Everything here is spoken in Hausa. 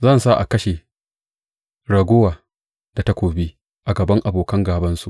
Zan sa a kashe raguwa da takobi a gaban abokan gābansu,